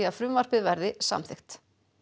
frumvarpið verði samþykkt